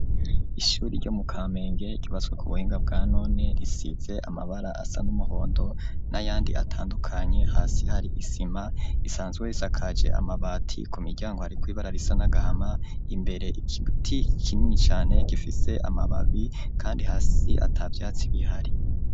Ishyuri ryo mu Kamenge ryubatswe ku buhinga bwa none risize amabara asa n'umuhondo n'ayandi atandukanye hasi hari isima isanzwe risakaje amabati ku miryango hariko ibara risa n'agahama imbere igiti kinini cane gifise amababi kandi hasi atavyatsi bihari.